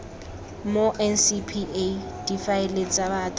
mo ncpa difaele tsa batho